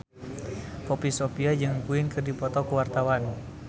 Poppy Sovia jeung Queen keur dipoto ku wartawan